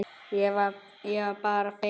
Ég var bara feimin!